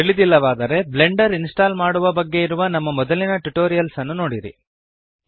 ತಿಳಿದಿಲ್ಲವಾದರೆ Blender install ಮಾಡುವ ಬಗ್ಗೆ ಇರುವ ನಮ್ಮ ಮೊದಲಿನ ಟ್ಯುಟೋರಿಯಲ್ಸ್ ನೋಡಿರಿ